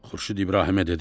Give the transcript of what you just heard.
Xurşud İbrahimə dedi: